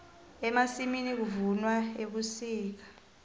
emasimini kuvunwa ebusika